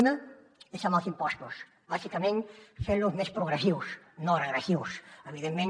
una és amb els impostos bàsicament fent los més progressius no regressius evidentment